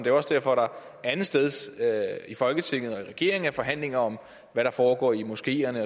er også derfor der andetsteds i folketinget og i regeringen er forhandlinger om hvad der foregår i moskeerne